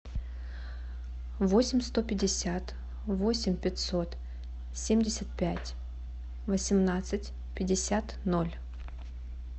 восемь сто пятьдесят восемь пятьсот семьдесят пять восемнадцать пятьдесят ноль